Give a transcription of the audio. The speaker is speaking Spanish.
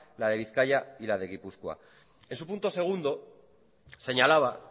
la de bizkaia y la de gipuzkoa en su punto segundo señalaba